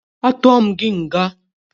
Atuọ m gị nga!